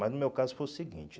Mas no meu caso foi o seguinte.